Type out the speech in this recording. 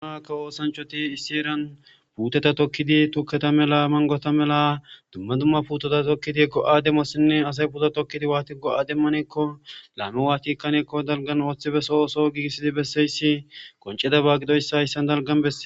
Kawo ossanichoti issi herani puteta tokidi tuketa mela manigota mela duma duma puteta tokiddi assayi g'oasi, putota tokidi watidi go'a demanekko hayissani daligani bessesi